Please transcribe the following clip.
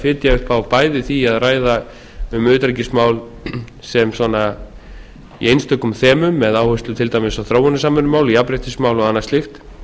fitja upp á bæði því að ræða um utanríkismál sem svona í einstökum þemum með áherslu til dæmis á þróunarsamvinnumál jafnréttismál og annað slíkt